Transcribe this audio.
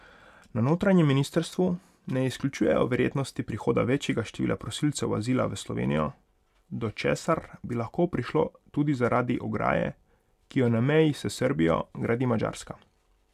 Na notranjem ministrstvu ne izključujejo verjetnosti prihoda večjega števila prosilcev azila v Slovenijo, do česar bi lahko hitro prišlo tudi zaradi ograje, ki jo na meji s Srbijo gradi Madžarska.